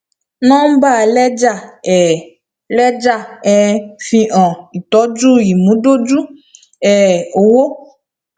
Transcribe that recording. nọmbà lẹjà um lẹjà um fi hàn ìtọjú ìmúdójú um owó